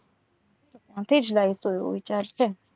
અભી જ like કરું ચાલશે.